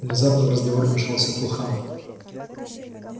внезапно в разговор вмешался фулхам